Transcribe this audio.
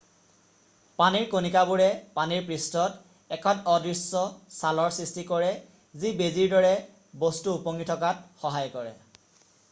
পানীৰ কণিকাবোৰে পানীৰ পৃষ্ঠত এখন অদৃশ্য ছালৰ সৃষ্টি কৰে যি বেজীৰ দৰে বস্তু উপঙি থকাত সহায় কৰে